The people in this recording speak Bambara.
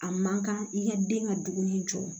A man kan i ka den ka dumuni jɔ